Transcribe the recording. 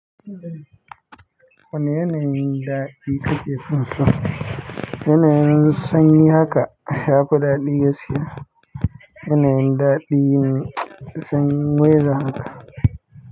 Wani yanayin daɗi kake fin so? Yanayin sanyi haka ya fi daɗi gaskiya. Yanayin daɗi ne sanyi weather haka.